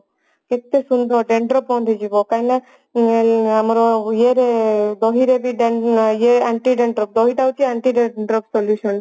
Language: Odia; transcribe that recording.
କେତେ ସୁନ୍ଦର dandruff ବନ୍ଦ ହେଇଯିବ କାହିଁକି ନା ଆମର ଇଏରେ ଦହିରେ ଇଏ Anti Dandruff ଦହି ଟା ହଉଛି Anti Dandruff Solution